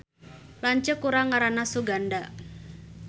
Lanceuk urang ngaranna Suganda